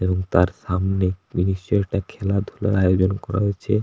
এবং তার সামনে নিশ্চই একটা খেলাধুলার আয়োজন করা হয়েছে।